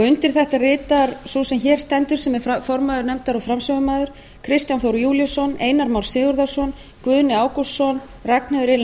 undir þetta ritar sú sem hér stendur sem er formaður nefndar og framsögumaður kristján þór júlíusson einar már sigurðarson guðni ágústsson ragnheiður e